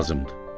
Lazımdır.